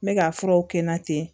N bɛ ka furaw k'i la ten